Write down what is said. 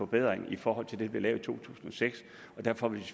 bedring i forhold til det der blev lavet i to tusind og seks og derfor vil